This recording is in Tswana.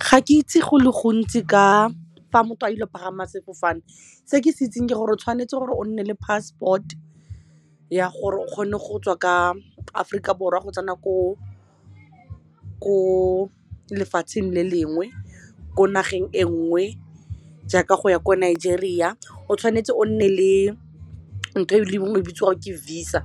Ga ke itse go le gontsi ka fa motho a ile go pagama sefofane se ke se itseng ke gore o tshwanetse gore o nne le passport ya gore o kgone go tswa ka Aforika Borwa go tsena ko lefatsheng le lengwe ko nageng e nngwe jaaka go ya ko Nigeria, o tshwanetse o nne le ntho e le nngwe e bitswa ke visa,